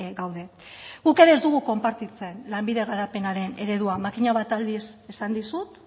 gaude guk ere ez dugu konpartitzen lanbide garapenaren eredua makina bat aldiz esan dizut